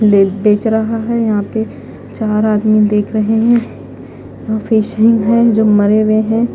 बेच रहा है यहां पे चार आदमी देख रहे हैं यहां फिशिंग है जो मरे हुए हैं।